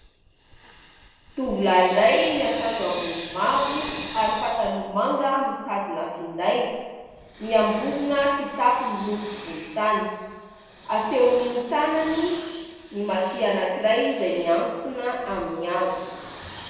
Tovolahy iray miankanjo ambony mavo ary pataloha manga mitazona finday, miambozona kitapo miloko volo tany, asehony ny tanany ny Maki anankiray izay mihatona amin'ny hazo.